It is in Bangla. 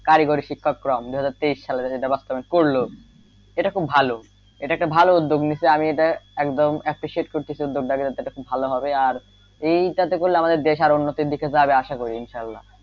কারিগরি শিক্ষাক্রম দুই হাজার তেইশ সালে যেটা বাস্তবায়ন করলো এটা খুব ভালো এটা একটা উদ্যোগ নিছে আমি এটা একটা একদম appreciate করতেছি উদ্যোগটাকে যাতে খুব হবে আর এটা করলে আমাদের দেশ আরো উন্নতির দিকে আশা করি ইনশাআল্লাহ,